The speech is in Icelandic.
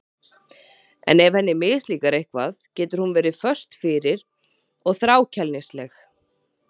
En ef henni mislíkar eitthvað getur hún verið föst fyrir og þrákelknisleg.